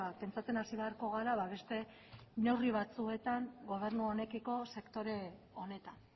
pentsatzen hasi beharko gara beste neurri batzuetan gobernu honekiko sektore honetan